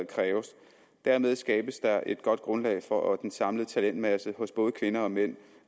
kræves dermed skabes der et godt grundlag for at den samlede talentmasse hos både kvinder og mænd